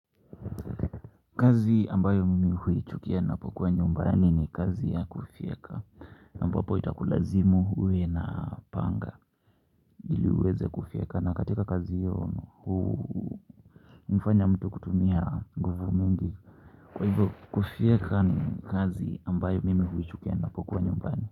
Kazi ambayo mimi huichukia napokuwa nyumbani ni kazi ya kufyeka ambapo itakulazimu uwe na panga ili uweze kufyeka na katika kazi hiyo hu mfanya mtu kutumia nguvu mingi kwa hivyo kufyeka ni kazi ambayo mimi huichukia napokuwa nyumbani.